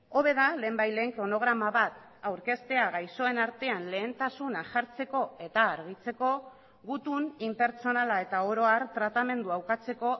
hobe da lehenbailehen kronograma bat aurkeztea gaixoen artean lehentasuna jartzeko eta argitzeko gutun inpertsonala eta oro har tratamendua ukatzeko